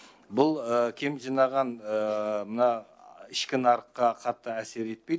бұл кем жинаған мына ішкі нарыққа қатты әсер етпейді